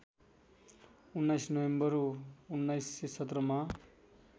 १९ November १९१७ मा